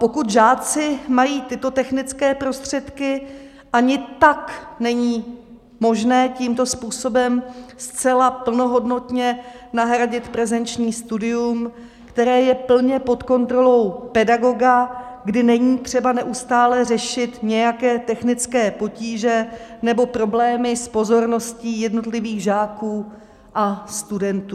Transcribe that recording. Pokud žáci mají tyto technické prostředky, ani tak není možné tímto způsobem zcela plnohodnotně nahradit prezenční studium, které je plně pod kontrolou pedagoga, kdy není třeba neustále řešit nějaké technické potíže nebo problémy s pozorností jednotlivých žáků a studentů.